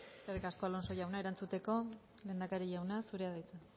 eskerrik asko alonso jauna erantzuteko lehendakari jauna zurea da hitza